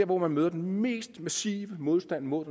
hvor man møder den mest massive modstand mod